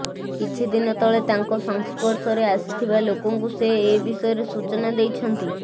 କିଛି ଦିନ ତଳେ ତାଙ୍କ ସଂସ୍ପର୍ଶରେ ଆସିଥିବା ଲୋକଙ୍କୁ ସେ ଏବିଷୟରେ ସୂଚନା ଦେଇଛନ୍ତି